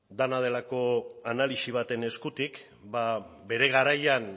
dena delako analisi baten eskutik bere garaian